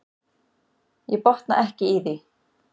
Ég botna ekki í því.